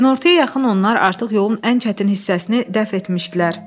Günortaya yaxın onlar artıq yolun ən çətin hissəsini dəf etmişdilər.